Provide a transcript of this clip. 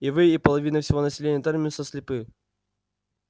и вы и половина всего населения терминуса слепы